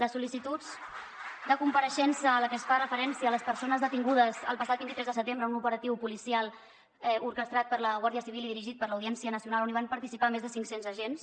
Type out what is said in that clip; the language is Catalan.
les sol·licituds de compareixença en les que es fa referència a les persones detingudes el passat vint tres de setembre en un operatiu policial orquestrat per la guàrdia civil i dirigit per l’audiència nacional on hi van participar més de cinc cents agents